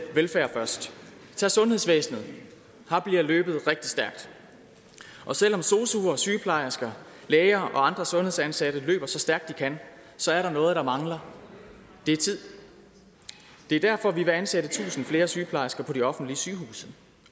velfærd først tag sundhedsvæsenet her bliver løbet rigtig stærkt og selv om sosuer sygeplejersker læger og andre sundhedsansatte løber så stærkt de kan så er der noget der mangler det er tid det er derfor vi vil ansætte tusind flere sygeplejersker på de offentlige sygehuse